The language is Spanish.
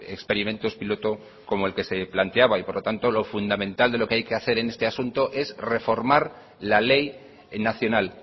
experimentos piloto como el que se planteaba y por lo tanto lo fundamental de lo que hay que hacer en este asunto es reformar la ley nacional